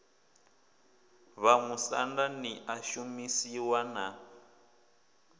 vhamusanda ḽi a shumisiwa na